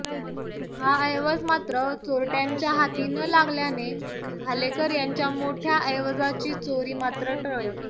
हा ऐवज मात्र चोरट्यांच्या हाती न लागल्याने भालेकर यांच्या मोठ्या ऐवजाची चोरी मात्र टळली